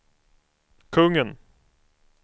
kungen